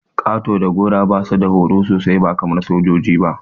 Ƙato da gora basu da horo sosai ba kaman sojoji ba.